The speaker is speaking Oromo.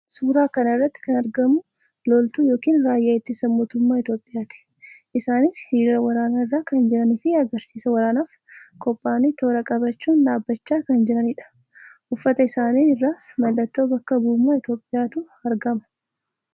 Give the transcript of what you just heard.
Suuraa kana irratti kan arganu loltuu yookiin raayyaa ittisaa mootummaa Itoophiyaati. isaannis hiriira waraanaa irra kan jiranii fi agarsiisa waraanaaf qophaa'anii toora qabachuun dhaabbachaa kan jiraniidha. Uffata isaanii irras mallattoo bakka bu'ummaa Itoophiyaatu argama.